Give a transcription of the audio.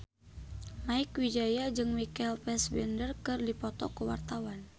Mieke Wijaya jeung Michael Fassbender keur dipoto ku wartawan